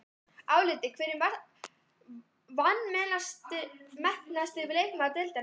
Álitið: Hver er vanmetnasti leikmaður deildarinnar?